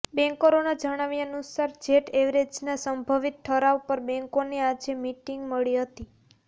બેન્કરોના જણાવ્યાનુસાર જેટ એરવેઝના સંભવિત ઠરાવ પર બેન્કોની આજે મિટિંગ મળી હતી